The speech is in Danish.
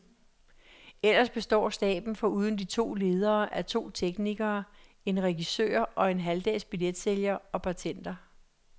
Ellers består staben foruden de to ledere af to teknikere, en regissør og en halvdags billetsælger og bartender.